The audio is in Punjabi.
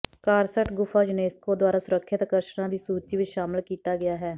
ਕਾਰਸਟ ਗੁਫਾ ਯੂਨੇਸਕੋ ਦੁਆਰਾ ਸੁਰੱਖਿਅਤ ਆਕਰਸ਼ਣਾਂ ਦੀ ਸੂਚੀ ਵਿੱਚ ਸ਼ਾਮਿਲ ਕੀਤਾ ਗਿਆ ਹੈ